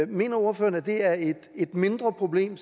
mener ordføreren at det er et mindre problem